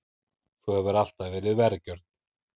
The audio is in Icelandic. Þú hefur alltaf verið vergjörn.